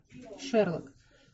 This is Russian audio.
шерлок